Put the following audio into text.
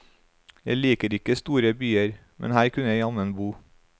Jeg liker ikke store byer, men her kunne jeg jammen bo.